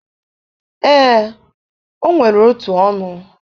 ee, o nwere otu ọnụ.